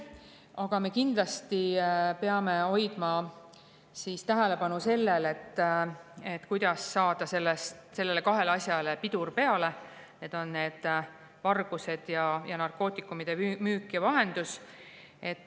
Aga me kindlasti peame hoidma tähelepanu sellel, kuidas saada kahele asjale pidur peale: need on vargused ning narkootikumide müük ja vahendus.